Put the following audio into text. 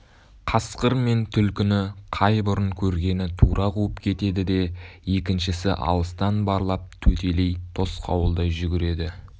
қасқыр мен түлкіні қай бұрын көргені тура қуып кетеді де екіншісі алыстан барлап төтелей тосқауылдай жүгіреді